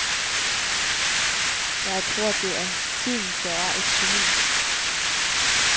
Jeg tror, det er tiden, der er et geni.